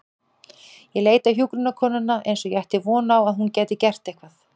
Ég leit á hjúkrunarkonuna eins og ég ætti von á að hún gæti gert eitthvað.